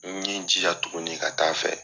N ye n jija tuguni ka taa fɛ.